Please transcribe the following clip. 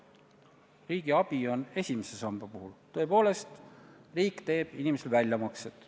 Riigi abiga on tegemist esimese samba puhul, tõepoolest, riik teeb sealt inimestele väljamakseid.